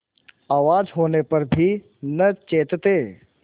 आवाज होने पर भी न चेतते